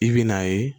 I bɛ n'a ye